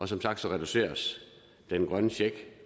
som sagt reduceres den grønne check